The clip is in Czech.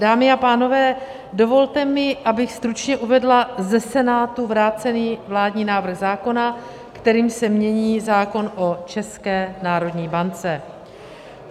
Dámy a pánové, dovolte mi, abych stručně uvedla ze Senátu vrácený vládní návrh zákona, kterým se mění zákon o České národní bance.